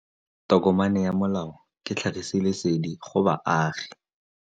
Tokomane ya molao ke tlhagisi lesedi go baagi.